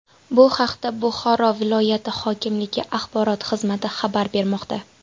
Bu haqda Buxoro viloyat hokimligi axborot xizmati xabar bermoqda .